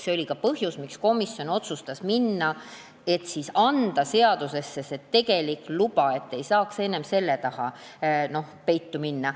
See oli ka põhjus, miks komisjon otsustas minna selle peale, et panna seadusesse see tegelik luba, et ei saaks enam selle taha peitu minna.